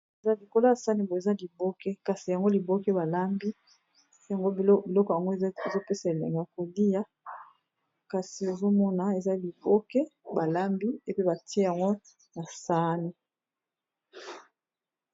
Eza likolo ya sani boye eza liboke kasi yango liboke balambi yango biloko yango ezopesa elengi ya kolia kasi ozomona eza liboke balambi epe batie yango na sani.